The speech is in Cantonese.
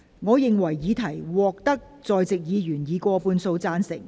我認為議題獲得在席議員以過半數贊成。